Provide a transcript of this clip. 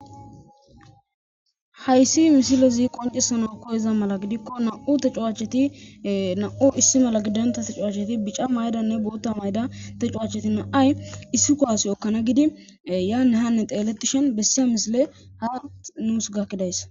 Hayssi misilezi qoncisana koyeza mala gidikko na7u te cuwacheti na7u issi mala gidonta te cuwacheti bica maydanne bootta mayda te cuwacheti na7ay issi ko asi ekkana gidi yaane hanne teelettishen bessiya misile haa nuus gakkidays.